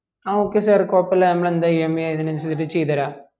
ആ okay sir കൊഴുപ്പുല്ലാ നമ്മള് എന്താ EMI അതിന് അനുസരിച് ചെയ്തതെരാ